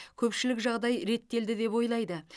көпшілік жағдай реттелді деп ойлайды